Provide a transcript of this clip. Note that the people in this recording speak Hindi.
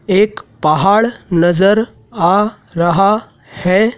एक पहाड़ नजर आ रहा हैं।